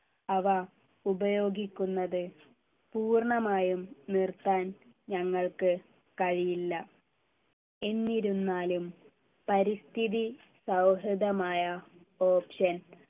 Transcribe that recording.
അവ ഉപയോഗിക്കുന്നത് പൂർണമായും നിർത്താൻ ഞങ്ങൾക്ക് കഴിയില്ല എന്നിരുന്നാലും പരിസ്ഥിതി സൗഹൃദമായ option